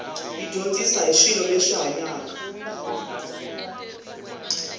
yi dyondzisa hi swilo leswi hanyaka